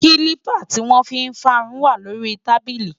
kílípà tí wọ́n fi ń fárun wà lórí i tábílì